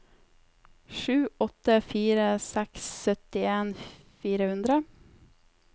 sju åtte fire seks syttien fire hundre